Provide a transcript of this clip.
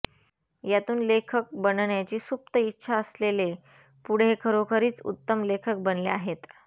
यातून लेखक बनण्याची सुप्त इच्छा असलेले पुढे खरोखरीच उत्तम लेखक बनले आहेत